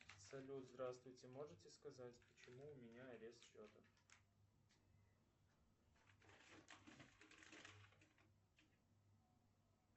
салют здравствуйте можете сказать почему у меня арест счета